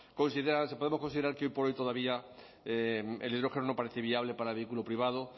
si podemos considerar que hoy por hoy todavía hidrógeno no parece viable para el vehículo privado